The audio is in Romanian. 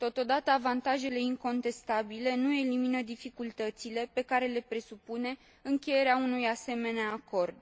Totodată, avantajele incontestabile nu elimină dificultățile pe care le presupune încheierea unui asemenea acord.